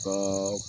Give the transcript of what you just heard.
Ka